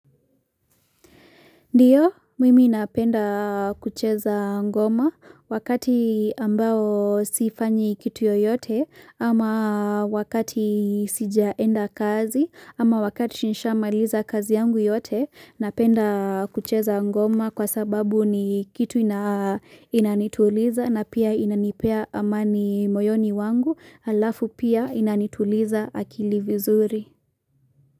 Ndiyo, mimi napenda kucheza ngoma wakati ambao sifanyi kitu yoyote ama wakati sijaenda kazi ama wakati nishamaliza kazi yangu yote napenda kucheza ngoma kwa sababu ni kitu ina inanituliza na pia inanipea amani moyoni wangu, halafu pia inanituliza akili vizuri.